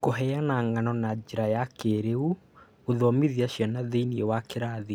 Kũheana ng'ano na njĩra ya kĩĩrĩu gũthomithia ciana thĩiniĩ wa kĩrathi